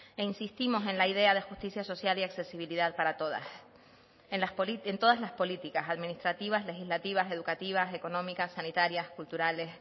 e insistimos en la idea de justicia social y accesibilidad para todas en todas las políticas administrativas legislativas educativas económicas sanitarias culturales